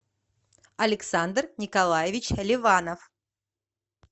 александр николаевич ливанов